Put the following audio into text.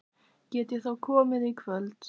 Get ég þá komið í kvöld?